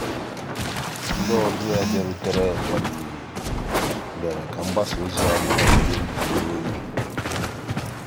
ọ́kụ́ ọ́kụ́ n'èzí mérè ká ànyị́ wegàchí íhé nkírí ọ́tụtụ́ ògé.